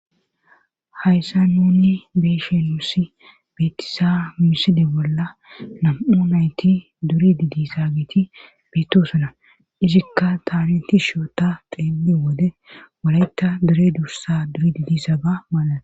Hayssa nunni beeshen musi beetisa miside bolla nam7u nayti duri didi saagiti beettosona izikka taariti shoota xeeli wode walayta dure dursa duri didisaaga mala.